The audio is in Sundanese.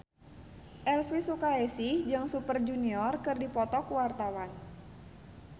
Elvi Sukaesih jeung Super Junior keur dipoto ku wartawan